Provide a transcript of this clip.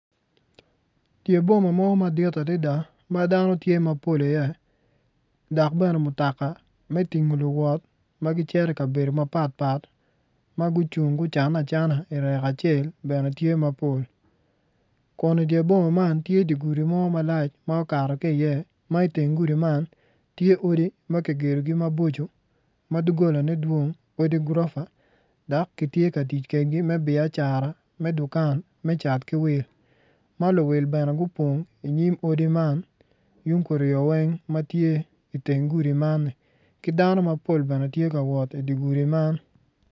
Dye boma mo madit adida ma dano tye mapol iye dok bene mutaka me dingo luwot ma gicito i kabedo mapat pat ma gucung ma gucanne acana irek acel bene tye mapol kun idye boma man tye di gudi mo malac ma okato ki i iye ma iteng gudi man tye odi ma kigedogi maboco dugolone dwong odi gurofa dak gitye ka tic kedegi me biacara me dukan me cat ki wil ma luwil bene gupong inyim odi man yung kuryo weng ma tye iteng gudi man -ni ki dano mapol bene tye kawot idye gudi man.